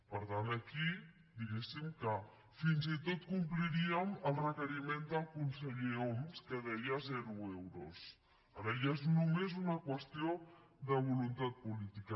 per tant aquí diguéssim que fins i tot compliríem el requeriment del conseller homs que deia zero euros ara ja és només una qüestió de voluntat política